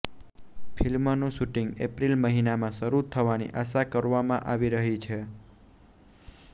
ફિલ્મનુ shooting April મહિનામાં શરૂ થવાની આશા કરવામાં આવી રહી છે